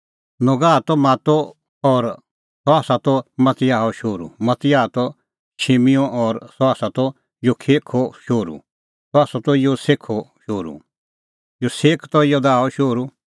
नोगह त मातो और सह त मतियाहो शोहरू मतियाह त शिमिओ और सह त योसेखो शोहरू योसेख त योदाहो शोहरू